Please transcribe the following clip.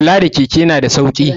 Kula da keke na da sauki tsada.